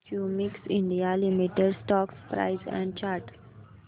Cummins India limited stock price and chart